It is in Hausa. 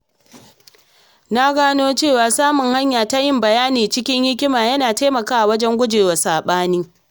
Na gano cewa samun hanya ta yin bayani cikin hikima yana taimakawa wajen gujewa saɓani.